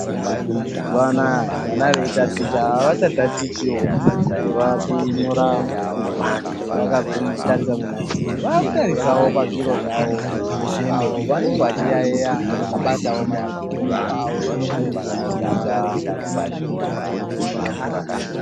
Mazuwanaya vana veitaticha avachatatichiwl veinyora vakatarisa kumadziro. Vakutarisawo pazviro zvavo apo vanengr vechiyaiya vakabatawo maleputopu avo vachidzidza.